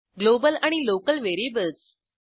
global आणि local variables